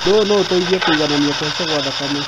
ũndũ ũyũ noũteithie kũiganania kũhaica gwa thakame